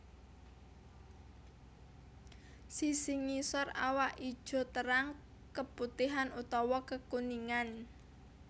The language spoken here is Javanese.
Sisi ngisor awak ijo terang keputihan utawa kekuningan